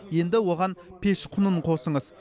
енді оған пеш құнын қосыңыз